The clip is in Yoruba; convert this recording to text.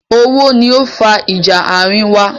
Owó ni ó fa ìjà àárín wa.